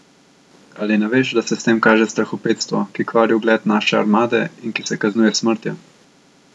Ali ne veš, da se s tem kaže strahopetstvo, ki kvari ugled naše armade in ki se kaznuje s smrtjo?